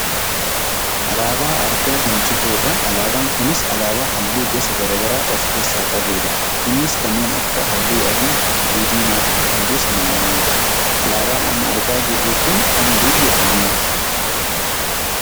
Alaabaa argaa kan jirrudha. Alaabaan kunis alaabaa halluu gosa gara garaa of keessaa qabudha. Innis kanneen akka halluu adii, halluu diimaa, fi halluu samaawwiidha. Alaabaan amma argaa jirru kun kan biyya kamiiti?